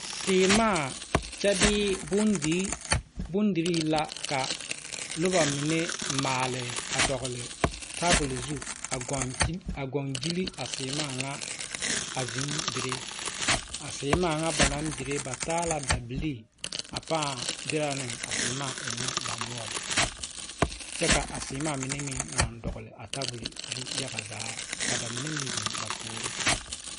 Sèèmaa kyɛ bee bondirii la ka noba mine maale a dɔgle tabol zu a gɔngyile a sèèmaa ŋa a zeŋ dire a sèèmaa ŋa ba naŋ dire ba taa la dabilii a pãã dirɛ ne a sèèmaa ɛŋnɛ ba noɔre poɔ kyɛ ka a sèèmaa mine meŋ naŋ dɔgle a tabol zu yaga zaa ka mine meŋ zeŋ ba puoriŋ.